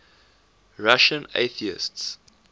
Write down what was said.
russian atheists